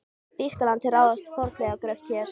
Þýskalandi til að ráðast í fornleifagröft hér.